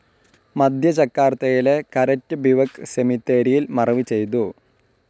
മധ്യ ജക്കാർത്തയിലെ Karet Bivak സെമിത്തേരിയിൽ മറവ് ചെയ്തു.